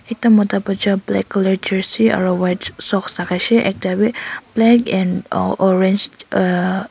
Ekta mota baja black colour Jercy aro white socks lakai she ekta beh black and oh orange and uh.